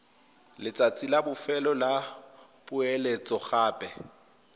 letsatsi la bofelo la poeletsogape